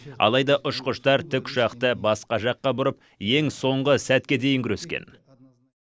алайда ұшқыштар тікұшақты басқа жаққа бұрып ең соңғы сәтке дейін күрескен